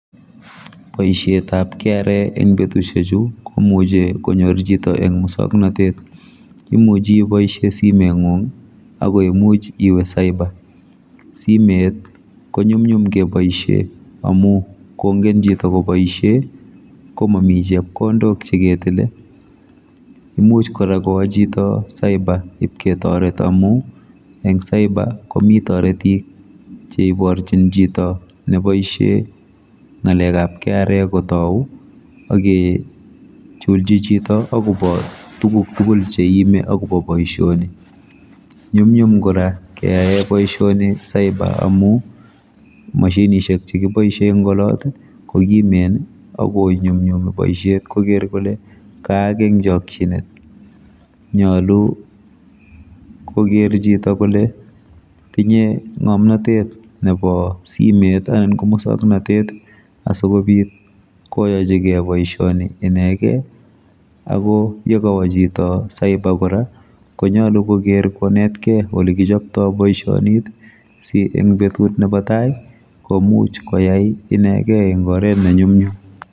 Boisietab kra eng betudiechu komuchi konyor chito eng musoknatet imuchi iboisie simetngung akoimuch iwe cyber simet konyumnyum keboisie amu kongen chito koboisie komami chepkondok cheketile imuch kora kowo chito cyber ketoret amu eng cyber komi toretik cheiborchin chito neboisie ngalekab kra kotou akechulji chito akobo tuguk tugul cheiimi akobo boisioni nyumnyum kora keae boisioni cyber amu mashinishek chekiboisie eng olot kokimen akinyumnyumi boisiet koker kole kaak eng chokchinet nyolu koker chito kole tinye ngomnotet nebo simet anan ko muswoknotet asikobit koyachigei boisioni inekei akoyekawo chito cyber kora konai koker ole kichopto boisionit si eng betut nebo tai komuch koyai inekei eng oret ne nyumnyum